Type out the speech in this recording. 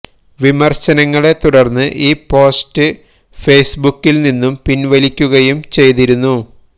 വിമര്ശനങ്ങളെ തുടര്ന്ന് ഈ പോസ്റ്റ് ഫെയ്സ്ബുക്കില് നിന്നും പിന്വലിക്കുകയും ചെയ്തിരുന്നു